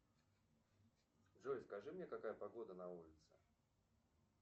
джой скажи мне какая погода на улице